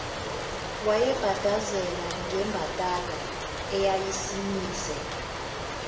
wayebhadazela ngembadada eyayisimise